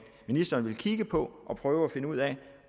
ministeren vil kigge på og prøve at finde ud af